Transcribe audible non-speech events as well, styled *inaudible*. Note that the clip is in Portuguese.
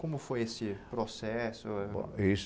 Como foi esse processo? *unintelligible*